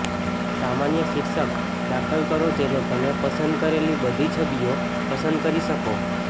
સામાન્ય શીર્ષક દાખલ કરો જેને તમે પસંદ કરેલી બધી છબીઓ પસંદ કરી શકો